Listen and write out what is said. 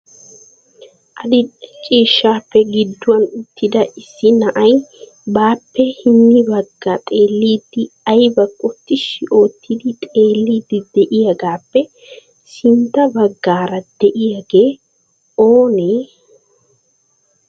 Adil"e ciishshappe gidduwan uttida issi na'ay baappe hini baggi xeelidi aybbakko tishshi oottidi xeelidi de'iyagappe sintta baggaara de'iyaagee oonee ?